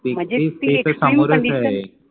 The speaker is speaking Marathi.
म्हणजे ते सामोरच आहे